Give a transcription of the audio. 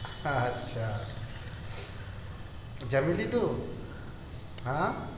અચ્છા જમી લીધું હા